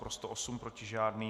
Pro 108, proti žádný.